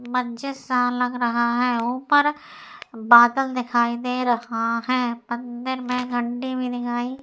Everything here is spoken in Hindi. मस्जिद सा लग रहा है। ऊपर बादल दिखाई दे रहा है। मंदिर में घंटी भी दिखाई --